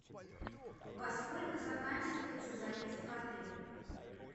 во сколько заканчивается заезд в отель